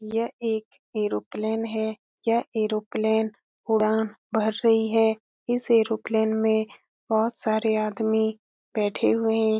यह एक एरोप्लेन हे यह एरोप्लेन उड़ान भर रही है इस एरोप्लेन में बहोत सारे आदमी बैठे हुए हैं।